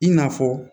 I n'a fɔ